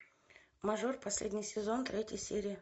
мажор последний сезон третья серия